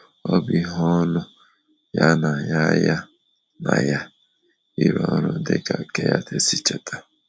Ọ bụ ihe ọṅụ ya na ya ya na ya ịrụ ọrụ, dịka Kenyatte si cheta.